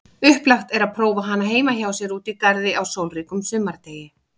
Upplagt er prófa hana heima hjá sér úti í garði á sólríkum sumardegi.